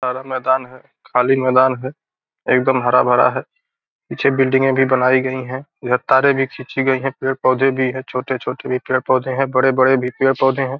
हरा मैदान है खली मैदान है एकदम हरा-भरा है पीछे बिल्डिंगे भी बनाई गई है इधर तारे भी खींची गई है पेड़-पौधे भी है छोटे-छोटे भी पेड़ पौधे है बड़े-बड़े भी है पेड़-पौधे है।